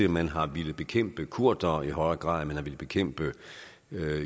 man har villet bekæmpe kurdere i højere grad end man har villet bekæmpe